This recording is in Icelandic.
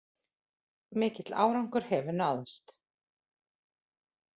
Mikill árangur hefur náðst